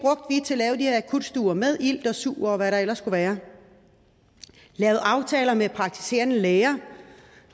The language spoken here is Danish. her akutstuer med ilt og sug og hvad der ellers skulle være lavede aftaler med praktiserende læger